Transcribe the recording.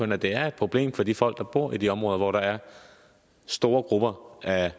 det det er et problem for de folk der bor i de områder hvor der er store grupper af